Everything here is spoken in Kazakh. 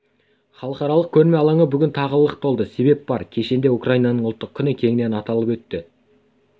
халықаралық көрме алаңы бүгін тағы лық толды себеп бар кешенде украинаның ұлттық күні кеңінен аталып өтті